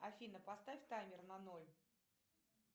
афина поставь таймер на ноль